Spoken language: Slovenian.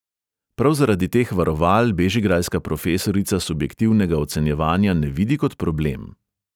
Prav zaradi teh varoval bežigrajska profesorica subjektivnega ocenjevanja ne vidi kot problem.